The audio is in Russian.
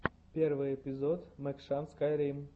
первый эпизод мэкшан скайрим